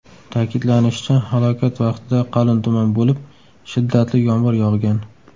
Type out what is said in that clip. Ta’kidlanishicha, halokat vaqtida qalin tuman bo‘lib, shiddatli yomg‘ir yog‘gan.